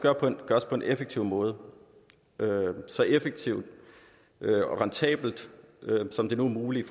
gøres på en effektiv måde så effektivt og rentabelt som det nu er muligt